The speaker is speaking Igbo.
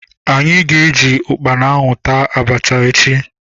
Anyị ga- eji ukpana ahụ taa abacha echi.